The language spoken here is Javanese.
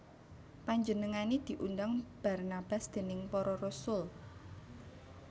Panjenengané diundang Barnabas déning para rasul